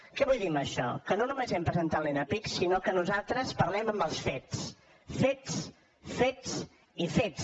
què vull dir amb això que no només hem presentat l’enapisc sinó que nosaltres parlem amb el fets fets fets i fets